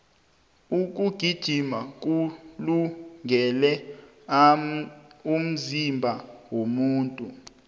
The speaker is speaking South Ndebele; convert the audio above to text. ukugijima kulungele umzimba womuntu